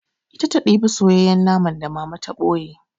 Ita ta ɗiba soyayyen naman da Mama to ɓoye.